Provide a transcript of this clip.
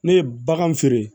Ne ye bagan feere